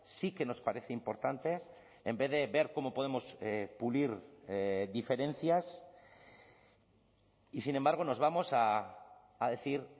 sí que nos parece importante en vez de ver cómo podemos pulir diferencias y sin embargo nos vamos a decir